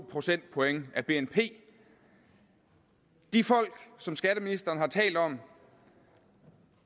procentpoint af bnp de folk som skatteministeren har talt om